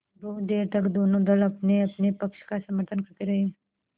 बहुत देर तक दोनों दल अपनेअपने पक्ष का समर्थन करते रहे